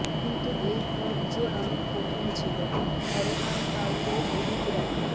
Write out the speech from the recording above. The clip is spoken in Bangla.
কিন্তু এই পথ যে অনেক কঠিন ছিল হরনাম কাউরের অভীক রায়